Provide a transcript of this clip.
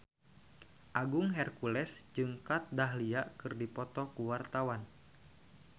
Agung Hercules jeung Kat Dahlia keur dipoto ku wartawan